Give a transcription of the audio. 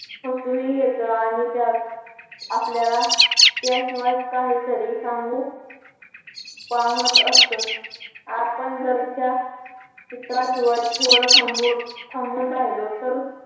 हसूही येतं आणि त्यात आपल्याला त्याशिवाय काहीतरी सांगू पाहत असत आपण जर त्या चित्रा शिवाय थोड थांबून थांबून राहीलो तर